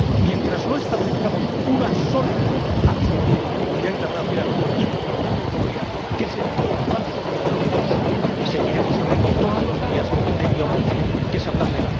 Mientras no establezcamos una sólida acción por parte de la comunidad internacional y de la Unión Europea, que es el principal socio de los dos, seguiremos hablando todos los días de violencia, que es hablar de